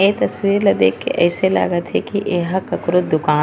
ये तस्वीर ला देख के ऐसे लागत हे की एहा ककरो दुकान ए--